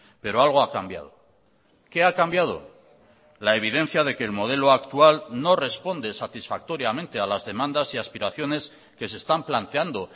pero algo ha cambiado qué ha cambiado la evidencia de que el modelo actual no responde satisfactoriamente a las demandas y aspiraciones que se están planteando